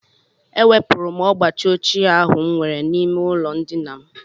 Ewepụrụ m ọgbachi ochie ahụ m nwere n'ime ụlọndina m